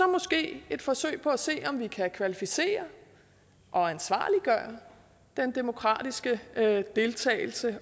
måske et forsøg på at se om vi kan kvalificere og ansvarliggøre den demokratiske deltagelse